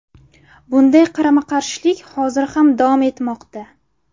Bunday qarama-qarshilik hozir ham davom etmoqda.